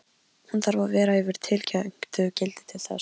Hún þarf að vera yfir tilteknu gildi til þess.